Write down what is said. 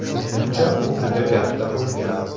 Menimcha u juda katta bo‘lgan”.